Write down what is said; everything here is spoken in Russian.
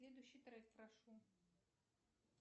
следующий трек прошу